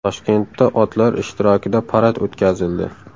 Toshkentda otlar ishtirokida parad o‘tkazildi .